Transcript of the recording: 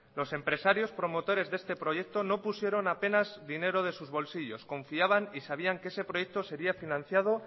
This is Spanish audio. los empresarios promotores de este proyecto no pusieron apenas dinero de sus bolsillos confiaban y sabían que ese proyecto sería financiado